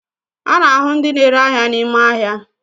A na ahu ndi n'ere ahia n'ime ahia